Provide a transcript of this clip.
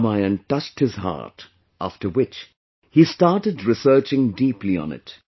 'Ramayana' touched his heart, after which he started researching deeply on it